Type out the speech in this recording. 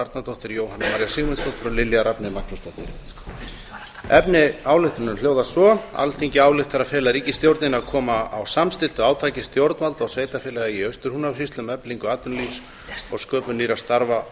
arnardóttir jóhanna maría sigmundsdóttir lilja rafney magnúsdóttir efni ályktunarinnar hljóðar svo alþingi ályktar að fela ríkisstjórninni að koma á samstilltu átaki stjórnvalda og sveitarfélaga í austur húnavatnssýslu um eflingu atvinnulífs og sköpun nýrra starfa á